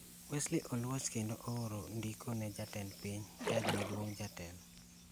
Wesley Oluoch kendo ooro ndiko ne Jatend Piny, Jaj maduong', Jatelo,